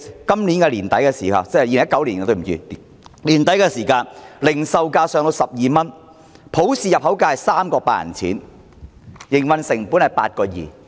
到了2019年年底，零售價上升至12元，入口價是 3.8 元，營運成本是 8.2 元。